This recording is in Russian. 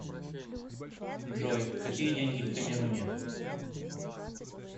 джой какие деньги в камеруне